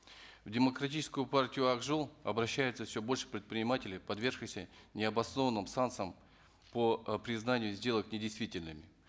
в демократическую партию ак жол обращается все больше предпринимателей подвергшихся необоснованным санкциям по э признанию сделок недействительными